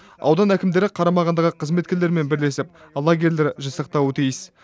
аудан әкімдері қарамағындағы қызметкерлермен бірлесіп лагерьлер жасақтауы тиіс